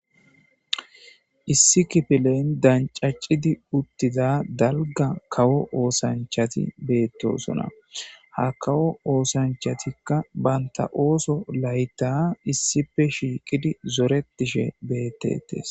issi kifileyn dancacidi uttiza dalga kawo oosanchati beettosona ha kawo oosanchatikka banta ooso layta issipe shiiqidi zoretishe beettetes